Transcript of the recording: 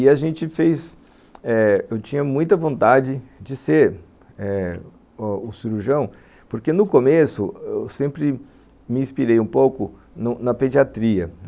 E a gente fez eh... eu tinha muita vontade de ser o cirurgião, porque no começo eu sempre me inspirei um pouco na pediatria.